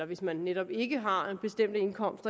hvis man netop ikke har en bestemt indkomst